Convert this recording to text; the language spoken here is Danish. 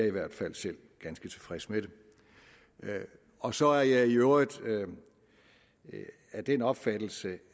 i hvert fald selv ganske tilfreds med det og så er jeg i øvrigt af den opfattelse